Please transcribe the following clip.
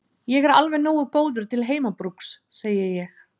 Ég er alveg nógu góður til heimabrúks, segi ég.